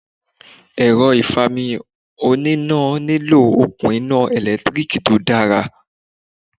Èrọ ìfami oní iná nílò òkun iná ẹ̀lẹ́tíríkì tó dára.